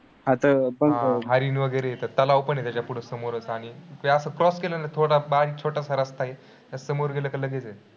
हरीण वगैरे आहे, त तलाव पण आहे त्याच्या पुढं समोरच आणि तर असं cross केलं ना, थोडा बारीक छोटासा रस्ता आहे. त्या समोर गेलं काय लगेच आहे.